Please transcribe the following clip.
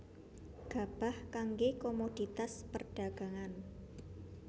Gabah kanggé komoditas perdhagangan